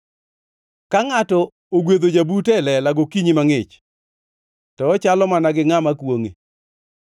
Ka ngʼato ogwedho jabute e lela gokinyi mangʼich, to ochalo mana gi ngʼama kwongʼe.